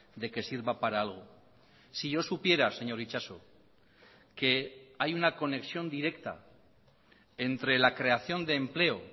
de que sirva para algo si yo supiera señor itxaso que hay una conexión directa entre la creación de empleo